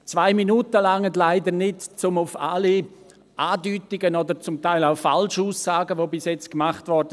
Zwei Minuten reichen leider nicht, um auf alle Andeutungen oder zum Teil auch Falschaussagen einzugehen, die bis jetzt gemacht wurden.